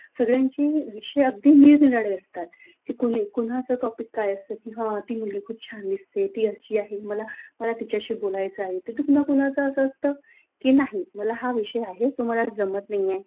सर्वांचे विषयातील निरनिराळे असतात की कोणा कोणाच टॉपिक काय असतं की हाती मुलगी खूप छान दिसते. ती अशी आहे मला मला तिच्याशी बोलायचं आहे. तर कोणा कुणाचा असं असतं की, की नाही मला विषय आहे तो मला जमत नाहीये.